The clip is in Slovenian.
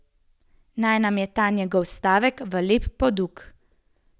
Naj nam je ta njegov stavek v lep poduk.